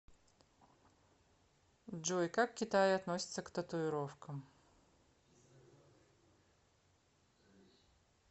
джой как в китае относятся к татуировкам